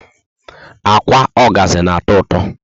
Ákwà ogazi na atọ ụtọ